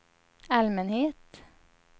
allmänhet